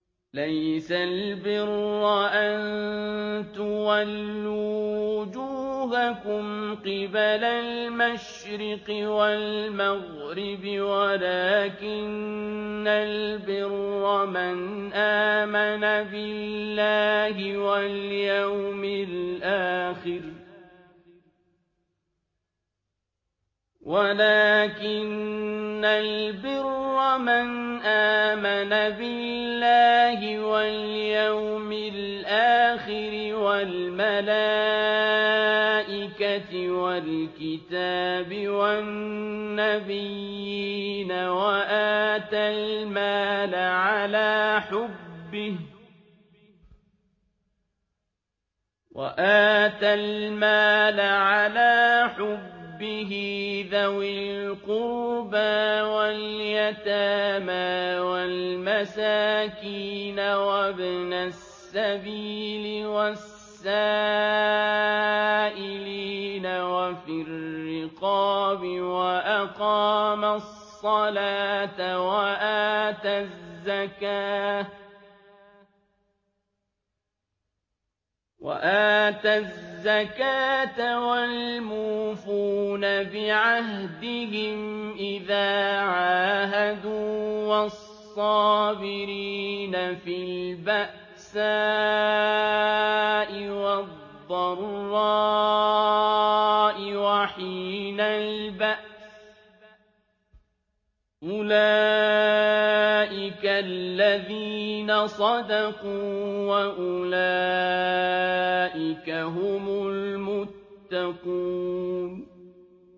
۞ لَّيْسَ الْبِرَّ أَن تُوَلُّوا وُجُوهَكُمْ قِبَلَ الْمَشْرِقِ وَالْمَغْرِبِ وَلَٰكِنَّ الْبِرَّ مَنْ آمَنَ بِاللَّهِ وَالْيَوْمِ الْآخِرِ وَالْمَلَائِكَةِ وَالْكِتَابِ وَالنَّبِيِّينَ وَآتَى الْمَالَ عَلَىٰ حُبِّهِ ذَوِي الْقُرْبَىٰ وَالْيَتَامَىٰ وَالْمَسَاكِينَ وَابْنَ السَّبِيلِ وَالسَّائِلِينَ وَفِي الرِّقَابِ وَأَقَامَ الصَّلَاةَ وَآتَى الزَّكَاةَ وَالْمُوفُونَ بِعَهْدِهِمْ إِذَا عَاهَدُوا ۖ وَالصَّابِرِينَ فِي الْبَأْسَاءِ وَالضَّرَّاءِ وَحِينَ الْبَأْسِ ۗ أُولَٰئِكَ الَّذِينَ صَدَقُوا ۖ وَأُولَٰئِكَ هُمُ الْمُتَّقُونَ